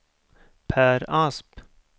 Pär Asp